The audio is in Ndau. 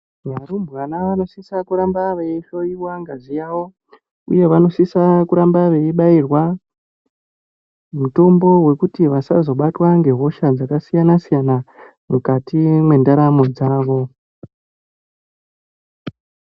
Varumbwana vano sisa kuramba veyi hloyiwa ngazi yavo uye vano sisa kuramba veyi bairwa mitombo wekuti vasazo batwa nge hosha dzaka siyana siyana mukati mwe ndaramo yavo.